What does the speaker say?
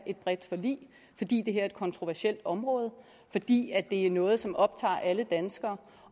et bredt forlig fordi det her er et kontroversielt område og fordi det er noget som optager alle danskere